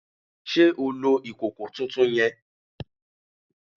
Sé o lo ìkòkò tuntun yen?